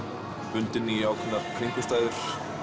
bundinn í ákveðnar kringumstæður